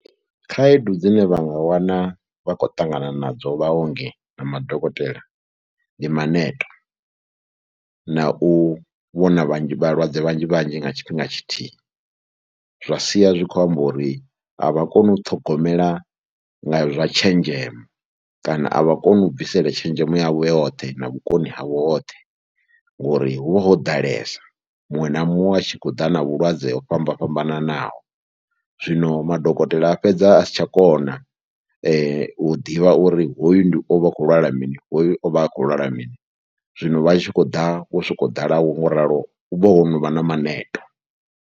Khaedu dzine vha nga wana vha khou ṱangana nadzo vhaongi na madokotela, ndi maneto na u vhona vhanzhi vhalwadze vhanzhi vhanzhi nga tshifhinga tshithihi zwa sia zwi khou amba uri a vha koni u ṱhogomela nga zwa tshenzhemo kana a vha koni u bvisela tshenzhemo yavho yoṱhe na vhukoni havho hoṱhe ngori hu vha ho ḓalesa. Muṅwe na muṅwe a tshi khou ḓa na vhulwadze ho fhambana fhambananaho, zwino madokotela a fhedza a si tsha kona u ḓivha uri hoyu ndi, o vha a khou lwala mini, hoyu o vha a khou lwala mini. Zwino vha tshi khou ḓa wo sokou ḓala wo ngo ralo hu vha ho no vha na maneto.